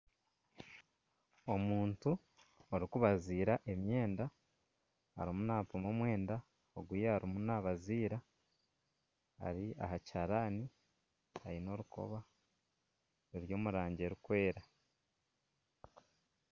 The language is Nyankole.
Omuntu orikubazira emyenda arimu nampima omwenda ogu yaaba erimu nabazira ari aha kihaarani aine orukoba ruri omu rangi erikwera.